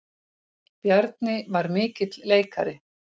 Bjarni var mikill leikari.